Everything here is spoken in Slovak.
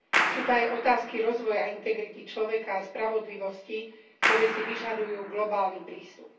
Sú to aj otázky rozvoja a integrity človeka a spravodlivosti, ktoré si vyžadujú globálny prístup.